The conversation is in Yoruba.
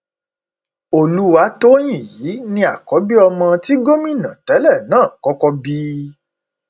olùwátòyìn yìí ni àkọbí ọmọ tí gómìnà tẹlẹ náà kọkọ bí